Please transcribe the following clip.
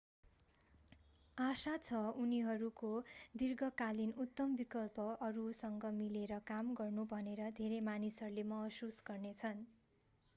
आशा छ उनीहरूको दिर्घकालीन उत्तम विकल्प अरूसँग मिलेर काम गर्नु भनेर धेरै मानिसहरूले महसुस गर्ने छन्